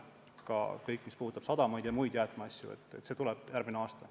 Ka kõik, mis puudutab sadamaid ja muid jäätmeprobleeme, tuleb lauale järgmine aasta.